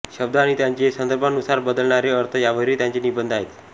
शब्द आणि त्यांचे संदर्भानुसार बदलणारे अर्थ यांवरही त्यांचे निबंध आहेत